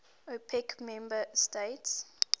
opec member states